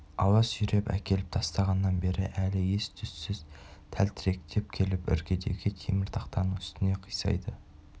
ауа сүйреп әкеліп тастағаннан бері әлі ес-түссіз тәлтіректеп келіп іргедегі темір-тақтаның үстіне қисайды